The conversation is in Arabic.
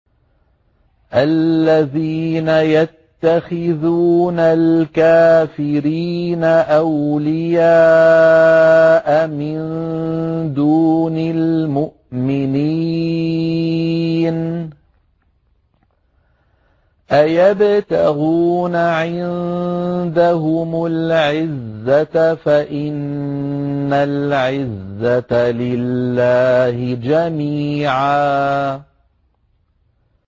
الَّذِينَ يَتَّخِذُونَ الْكَافِرِينَ أَوْلِيَاءَ مِن دُونِ الْمُؤْمِنِينَ ۚ أَيَبْتَغُونَ عِندَهُمُ الْعِزَّةَ فَإِنَّ الْعِزَّةَ لِلَّهِ جَمِيعًا